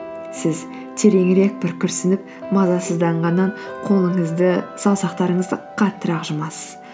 сіз тереңірек бір күрсініп мазасызданғаннан қолыңызды саусақтарыңызды қаттырақ жұмасыз